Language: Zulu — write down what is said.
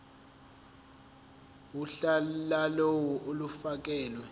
uhla lawo olufakelwe